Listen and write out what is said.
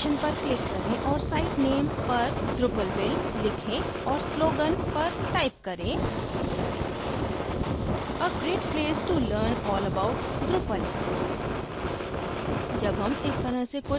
site information पर click करें और site name पर drupalville लिखें और slogan पर type करें a great place to learn all about drupal